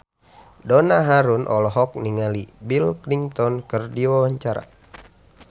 Donna Harun olohok ningali Bill Clinton keur diwawancara